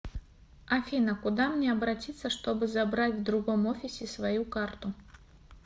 афина куда мне обратится чтобы забрать в другом офисе свою карту